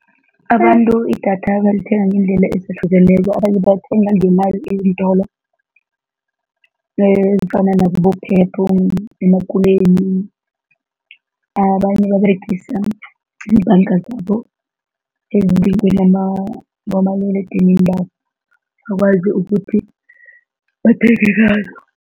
Abantu idatha balithenga ngeendlela ezihlukeneko, abanye balithenga ngemali eentolo ezifanana nakibo-Pep, emakuleni. Abanye baberegisa ibhanga zabo ukwazi ukuthi bathenge ngalo.